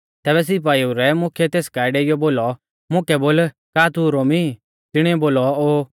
तैबै सिपाइऊ रै मुख्यै तेस काऐ डेइयौ बोलौ मुकै बोल का तू रोमी ई तिणीऐ बोलौ ओ